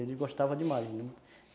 Ele gostava demais